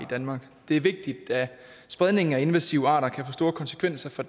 danmark det er vigtigt da spredningen af invasive arter kan få store konsekvenser for